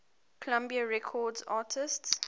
columbia records artists